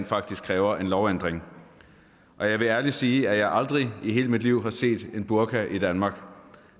faktisk kræver en lovændring jeg vil ærligt sige at jeg aldrig i hele mit liv har set en burka i danmark